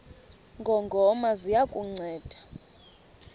ngongoma ziya kukunceda